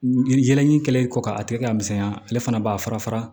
Jɛnɛ in kɛlen kɔ ka a tigɛ ka misɛnya ale fana b'a fara fara